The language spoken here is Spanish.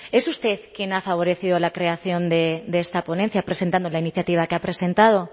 es usted quien ha favorecido la creación de esta ponencia presentando la iniciativa que ha presentado